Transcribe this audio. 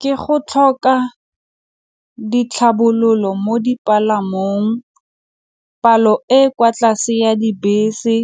Ke go tlhoka ditlhabololo mo dipalamong, palo e e kwa tlase ya dibese,